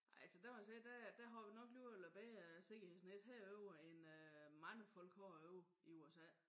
Nej altså der må jeg sige der øh der har vi nok alligevel noget bedre sikkerhedsnet herovre end øh mange folk har ovre i USA